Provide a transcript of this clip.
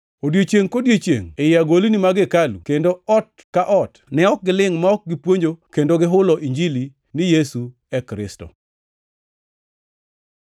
Odiechiengʼ kodiechiengʼ ei agolni mag hekalu kendo ot ka ot ne ok gilingʼ ma ok gipuonjo kendo gihulo Injili ni Yesu e Kristo.